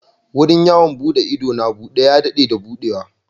Wurin yawon buɗe ido na Ubudu ya daɗe da buɗewa.